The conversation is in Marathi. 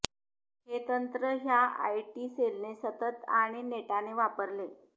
हे तंत्र ह्या आयटी सेलने सतत आणि नेटाने वापरले